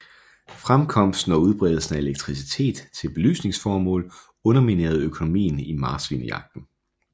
Fremkomsten og udbredelsen af elektricitet til belysningsformål underminerede økonomien i marsvinejagten